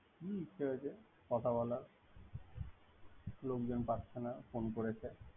হুম সে হয়েছে কথা বলার লোকজন পাচ্ছে না ফোন করেছে।